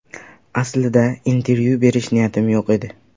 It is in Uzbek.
Aslida intervyu berish niyatim yo‘q edi.